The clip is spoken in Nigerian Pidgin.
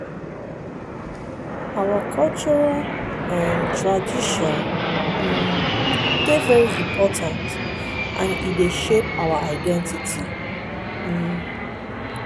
our cultural um traditions um dey very important and e dey shape our identity. um